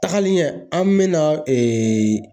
Tagalen ɲɛ an bɛna ee